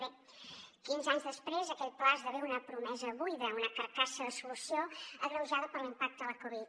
bé quinze anys després aquell pla esdevé una promesa buida una carcassa de solució agreujada per l’impacte de la covid